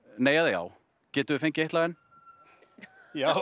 nei eða já getum við fengið eitt lag enn já